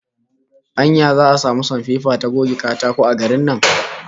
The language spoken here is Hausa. Anya za'a samu sanpepa ta goge katako a garin nan?